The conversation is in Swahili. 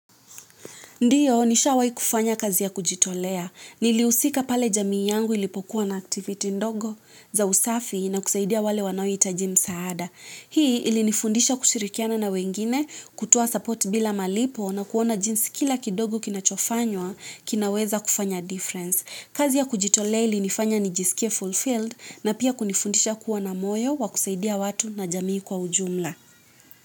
Ndiyo, nishawahi kufanya kazi ya kujitolea. Nilihusika pale jamii yangu ilipokuwa na activity ndogo za usafi na kusaidia wale wanaohitaji msaada. Hii ilinifundisha kushirikiana na wengine, kutoa support bila malipo na kuona jinsi kila kidogo kinachofanywa kinaweza kufanya difference kazi ya kujitolea ilinifanya nijisikie fulfilled na pia kunifundisha kuwa na moyo wa kusaidia watu na jamii kwa ujumla.